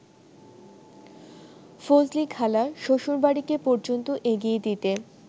ফজলিখালা শ্বশুরবাড়িকে পর্যন্ত এগিয়ে দিতে